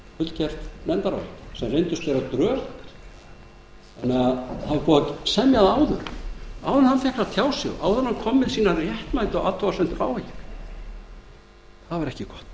fullgert nefndarálit sem reyndist vera drög sem búið var að semja áður áður en hann fékk að tjá sig áður en hann kom með sínar réttmætu athugasemdir það var ekki